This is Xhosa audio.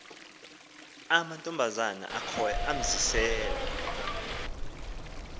amantombazana akhoyo amzisela